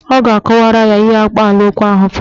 A ga-akọwara ya ihe akpaalaokwu ahụ pụtara.